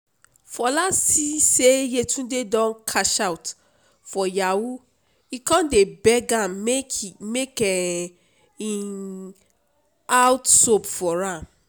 fola see say yetunde don cash out for yahoo e come dey beg am make make um im cut soap for am